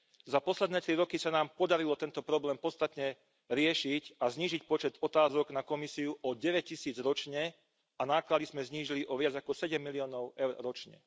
Za posledné tri roky sa nám podarilo tento problém podstatne riešiť a znížiť počet otázok na Komisiu o 9 tisíc ročne a náklady sme znížili o viac ako 7 miliónov eur ročne.